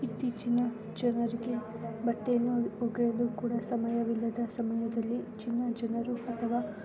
ಇತ್ತೀಚಿನ ಜನರಿಗೆ ಬಟ್ಟೆಯನ್ನು ಓಗಿಯಲು ಕೂಡ ಸಮಯವಿಲ್ಲದ ಸಮಯದಲ್ಲಿ ಜನ ಜನರು ಅಥವಾ --